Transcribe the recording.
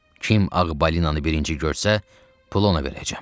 Kim ağ balinanı birinci görsə, pul ona verəcəm.